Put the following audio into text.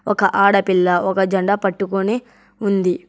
ఒక ఆడపిల్ల ఒక జెండా పట్టుకుని ఉంది.